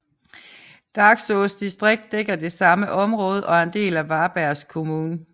Dagsås distrikt dækker det samme område og er en del af Varbergs kommun